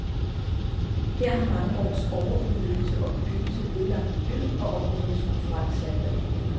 Her har mange års overudnyttelse og bebyggelse ødelagt miljøet og områdernes kulturelle særpræg.